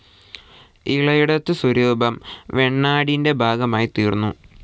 ഇളയടത്തു സ്വരൂപം വേണാടിന്റെ ഭാഗമായിത്തീർന്നു.